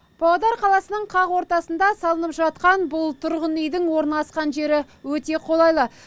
павлодар қаласының қақ ортасында салынып жатқан бұл тұрғын үйдің орналасқан жері өте қолайлы